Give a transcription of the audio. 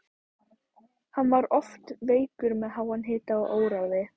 Hann var oft veikur með háan hita og óráði.